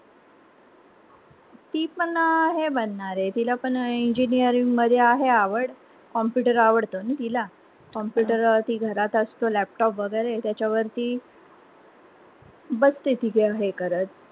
ती पण हे बनणारे ती ला पण engineering मध्ये आहे एवढं computer आवडत ना तिला ती घरात असते laptop वगैरे त्याचा वरती बसते तिच हे करत.